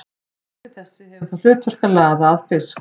Flipi þessi hefur það hlutverk að laða að fisk.